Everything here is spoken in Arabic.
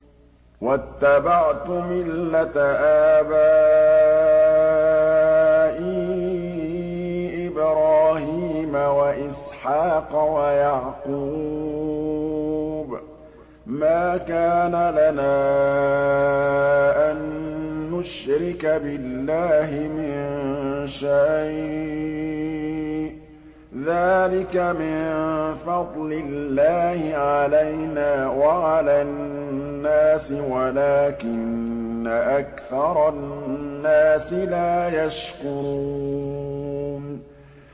وَاتَّبَعْتُ مِلَّةَ آبَائِي إِبْرَاهِيمَ وَإِسْحَاقَ وَيَعْقُوبَ ۚ مَا كَانَ لَنَا أَن نُّشْرِكَ بِاللَّهِ مِن شَيْءٍ ۚ ذَٰلِكَ مِن فَضْلِ اللَّهِ عَلَيْنَا وَعَلَى النَّاسِ وَلَٰكِنَّ أَكْثَرَ النَّاسِ لَا يَشْكُرُونَ